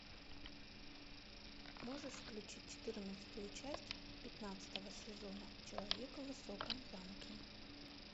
можешь включить четырнадцатую часть пятнадцатого сезона человека в высоком замке